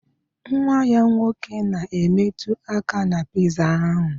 Nwa ya nwoke na-emetụ aka na piza ahụ